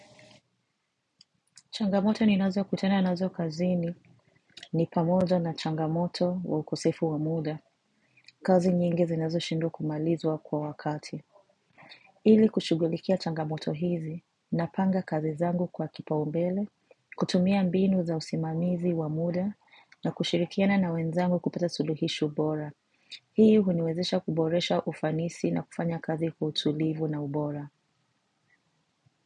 Changamoto ninazokutana nazo kazini ni pamoja na changamoto wa ukosefu wa muda. Kazi nyingi zinazoshindwa kumalizwa kwa wakati. Ili kushughulikia changamoto hizi napanga kazi zangu kwa kipaumbele, kutumia mbinu za usimamizi wa muda na kushirikiana na wenzangu kupata suluhisho bora. Hii huniwezesha kuboresha ufanisi na kufanya kazi kwa utulivu na ubora.